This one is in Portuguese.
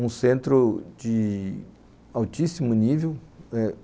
um centro de altíssimo nível eh